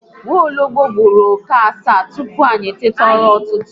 Nwologbo gburu oke asaa tupu anyị eteta ụra ụtụtụ